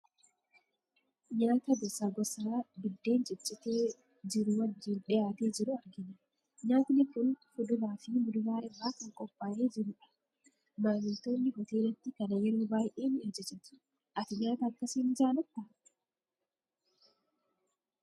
Nyaata gosaa gosaa biddeen ciccitee jiru wajjin dhiyaatee jiru argina. Nyaatni kun fuduraa fi muduraa irraa kan qophaa'ee jirudha. Maamiltoonni hoteelatti kana yeroo baay'ee ni ajajatu. Ati nyaata akkasii ni jaalattaa?